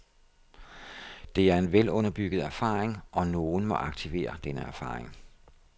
Det er en velunderbygget erfaring, og nogen må aktivere denne erfaring.